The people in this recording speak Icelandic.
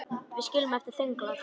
Við sitjum eftir þöglar.